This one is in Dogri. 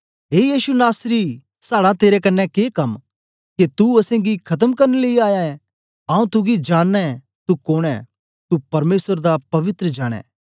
ए यीशु नासरी साड़ा तेरे कन्ने के कम के तू असेंगी खत्म करन लेई आया ऐ आऊँ तुगी जाननां ऐं तू कोन ऐ तू परमेसर दा पवित्र जन ऐं